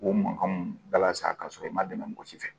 K'o mankanw bala sa ka sɔrɔ i ma dɛmɛ mɔgɔ si fɛ